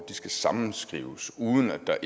der